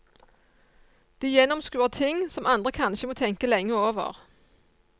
De gjennomskuer ting som andre kanskje må tenke lenge over.